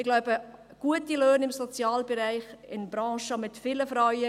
Ich glaube, gute Löhne im Sozialbereich, in Branchen mit vielen Frauen …